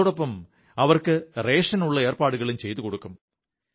അതോടൊപ്പം അവർക്ക് റേഷനുള്ള ഏർപ്പാടുകളും ചെയ്തുകൊടുക്കും